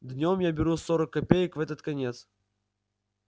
днём я беру сорок копеек в этот конец